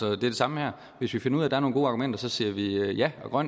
er det samme her hvis vi finder ud af er nogle gode argumenter siger vi ja og